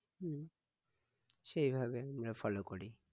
হম সেইভাবেই আমরা follow করি